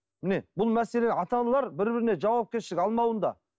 міне бұл мәселе ата аналар бір біріне жауапкершілік алмауында